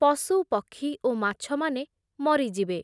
ପଶୁ, ପକ୍ଷୀ ଓ ମାଛମାନେ ମରିଯିବେ ।